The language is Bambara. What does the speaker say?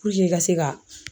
Puruke i ka se ka